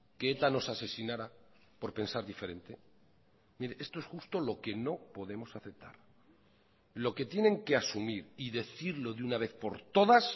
que eta nos asesinara por pensar diferente mire esto es justo lo que no podemos aceptar lo que tienen que asumir y decirlo de una vez por todas